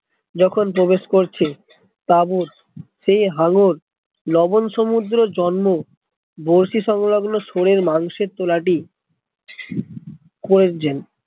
যখন প্রবেশ করছে তা ও সে হাঙ্গর লবন সমুদ্রে জন্ম বড়শি সংলগ্ন শুয়োরের মাংসএর তোলা টি